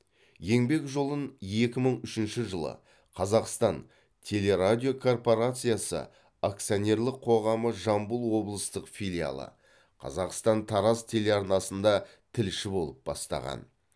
еңбек жолын екі мың үшінші жылы қазақстан телерадиокорпорациясы акцианерлік қоғамы жамбыл облыстық филиалы қазақстан тараз телеарнасында тілші болып бастаған